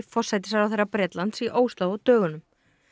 forsætisráðherra Bretlands í Ósló á dögunum